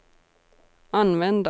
användas